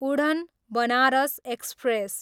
उढ्न, Banaras express